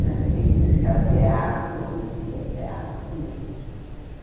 Era assim, até o teatro, a gente ao teatro né.